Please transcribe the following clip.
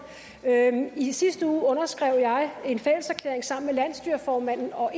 i sidste uge underskrev jeg en fælleserklæring sammen med landsstyreformanden og